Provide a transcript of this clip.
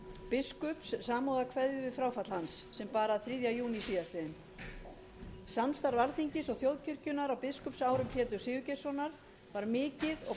biskups samúðarkveðjur við fráfall hans sem bar að þriðja júní síðastliðinn samstarf alþingis og þjóðkirkjunnar á biskupsárum péturs sigurgeirssonar var